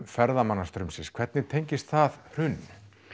ferðamannastraumsins hvernig tengist það hruninu